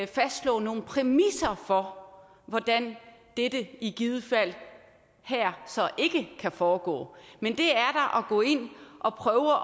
fastslå nogle præmisser for hvordan dette i givet fald så ikke kan foregå det er da at gå ind og prøve